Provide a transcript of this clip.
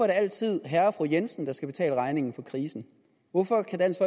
det altid herre og fru jensen der skal betale regningen for krisen hvorfor kan dansk